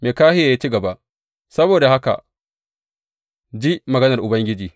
Mikahiya ya ci gaba, Saboda haka ka ji maganar Ubangiji.